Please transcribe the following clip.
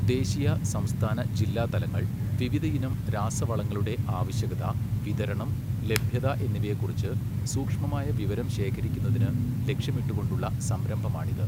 ദേശീയ, സംസ്ഥാന, ജില്ലാതലങ്ങൾ വിവിധ ഇനം രാസവളങ്ങളുടെ ആവശ്യകത, വിതരണം, ലഭ്യത എന്നിവയെകുറിച്ച് സൂക്ഷ്മമായ വിവരം ശേഖരിക്കുന്നതിന് ലക്ഷ്യമിട്ടുകൊണ്ടുള്ള സംരംഭമാണിത്.